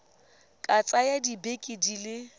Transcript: ka tsaya dibeke di le